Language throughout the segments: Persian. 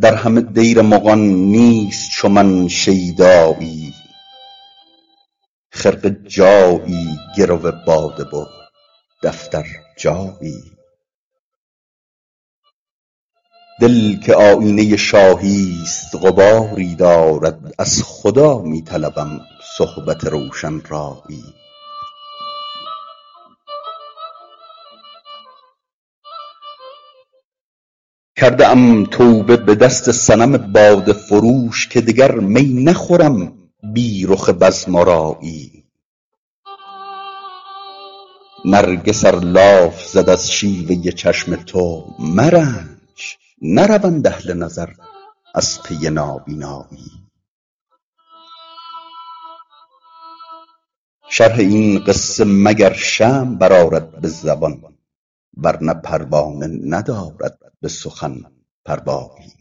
در همه دیر مغان نیست چو من شیدایی خرقه جایی گرو باده و دفتر جایی دل که آیینه شاهی ست غباری دارد از خدا می طلبم صحبت روشن رایی کرده ام توبه به دست صنم باده فروش که دگر می نخورم بی رخ بزم آرایی نرگس ار لاف زد از شیوه چشم تو مرنج نروند اهل نظر از پی نابینایی شرح این قصه مگر شمع برآرد به زبان ورنه پروانه ندارد به سخن پروایی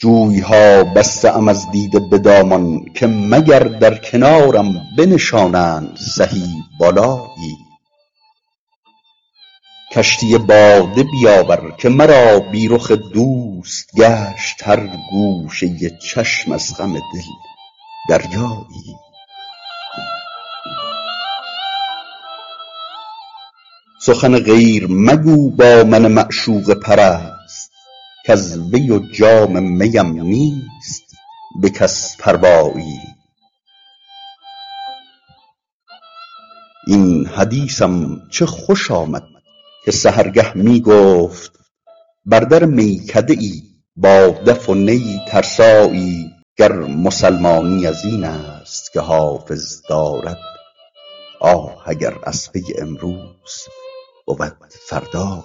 جوی ها بسته ام از دیده به دامان که مگر در کنارم بنشانند سهی بالایی کشتی باده بیاور که مرا بی رخ دوست گشت هر گوشه چشم از غم دل دریایی سخن غیر مگو با من معشوقه پرست کز وی و جام می ام نیست به کس پروایی این حدیثم چه خوش آمد که سحرگه می گفت بر در میکده ای با دف و نی ترسایی گر مسلمانی از این است که حافظ دارد آه اگر از پی امروز بود فردایی